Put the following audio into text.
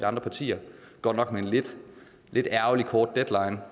andre partier godt nok med en lidt ærgerlig kort deadline